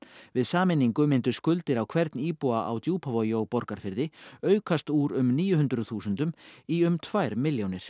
við sameiningu myndu skuldir á hvern íbúa á Djúpavogi og Borgarfirði aukast úr um níu hundruð þúsundum í um tvær milljónir